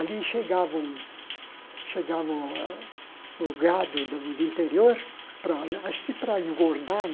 Ali chegava o chegava o a o gado do do interior, para a acho que para engordar,